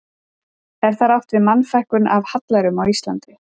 Er þar átt við Mannfækkun af hallærum á Íslandi.